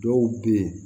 Dɔw be yen